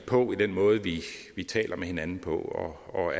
på i den måde vi taler med hinanden på og